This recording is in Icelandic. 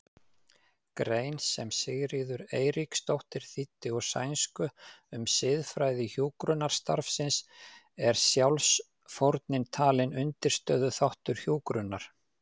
grein sem Sigríður Eiríksdóttir þýddi úr sænsku um siðfræði hjúkrunarstarfsins er sjálfsfórnin talin undirstöðuþáttur hjúkrunar.